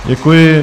Děkuji.